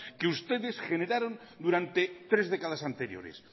que ustedes generaron durante tres décadas anteriores